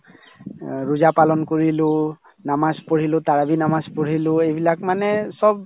অ ৰোজা পালন কৰিলো নামাজ পঢ়িলো তাৰাৱীহ নামাজ পঢ়িলো এইবিলাক মানে চব